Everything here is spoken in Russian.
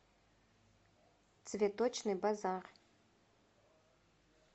цветочный базар